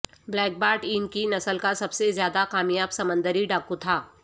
black Bart ان کی نسل کا سب سے زیادہ کامیاب سمندری ڈاکو تھا